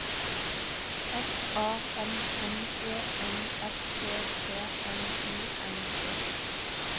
S A M M E N S E T N I N G